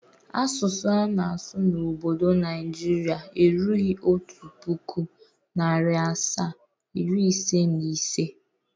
Asụsụ a na-asụ n'obdo Naijiria erughi otu pụkụ, narị asaa, iri ise na ise.